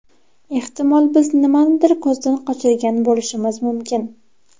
Ehtimol biz nimanidir ko‘zdan qochirgan bo‘lishimiz mumkin.